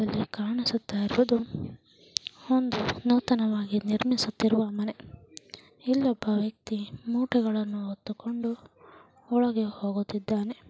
ಇಲ್ಲಿ ಕಾಣಿಸುತ್ತಾಯಿರುವುದು ಒಂದು ನೂತನವಾಗಿ ನಿರ್ಮಿಸುತ್ತಿರುವ ಮನೆ. ಇಲ್ಲೊಬ್ಬಾ ವ್ಯಕ್ತಿ ಮೂಟೆಗಳನ್ನು ಹೊತ್ತಿಕೊಂಡು ಒಳಗೆ ಹೋಗುತ್ತಿದ್ದಾನೆ.